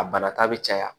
A banata bɛ caya